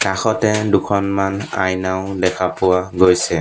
কাষতে দুখনমান আইনাও দেখা পোৱা গৈছে।